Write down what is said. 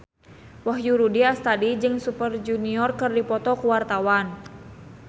Wahyu Rudi Astadi jeung Super Junior keur dipoto ku wartawan